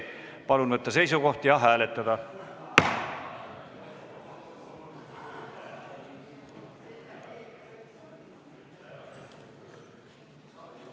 Palun võtta seisukoht ja hääletada!